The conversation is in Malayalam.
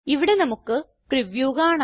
ഇവിടെ നമുക്ക് പ്രിവ്യൂ കാണാം